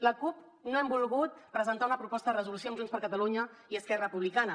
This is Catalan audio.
la cup no hem volgut presentar una proposta de resolució amb junts per catalunya i esquerra republicana